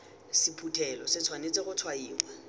sephuthelo se tshwanetse go tshwaiwa